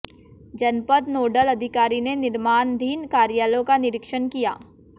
जनपद नोडल अधिकारी ने निर्माणधीन कार्यालयों का निरीक्षण किया